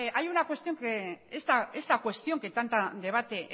esta cuestión que tanto debate